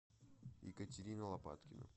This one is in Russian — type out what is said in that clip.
екатерина лопаткина